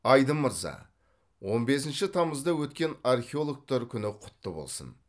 айдын мырза он бесінші тамызда өткен археологтар күні кұтты болсын